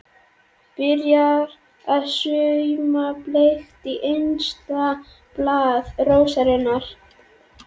Byrjar að sauma bleikt í innsta blað rósarinnar.